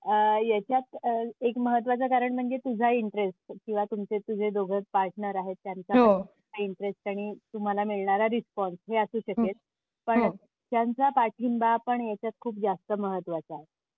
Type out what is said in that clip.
आह याच्यात एक महत्त्वाचं कारण म्हणजे तुझा इन्टरेस्ट किंवा तुमचे तुझे दोघे पार्टनर आहेत त्यांचा इन्टरेस्ट हो आणि तुम्हाला मिळणारा रिस्पॉन्स हे असू शकेल. हम्म पण त्यांचा पाठिंबा पण ह्याच्यात खूप जास्त महत्वाचा आहे.